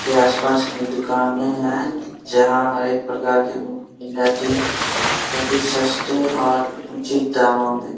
के आसपास की दुकान है जहां हर एक प्रकार की देती वो भी सस्ते और उचित दामों में--